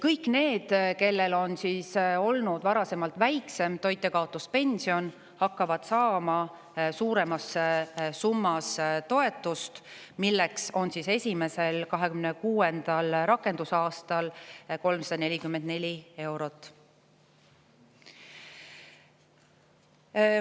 Kõik need, kellel varasemalt on olnud väiksem toitjakaotuspension, hakkavad saama suuremas summas toetust, mis esimesel rakendusaastal ehk 2026. aastal on 344 eurot.